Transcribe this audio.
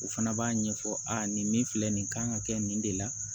U fana b'a ɲɛfɔ aa nin min filɛ nin kan ka kɛ nin de la